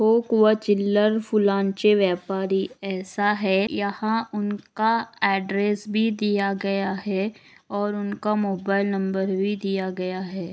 व चिल्लर फूलांचे व्यापारी ऐसा है यहा उनका एड्रैस भी दिया गया है और उनका मोबाइल नंबर भी दिया गया है।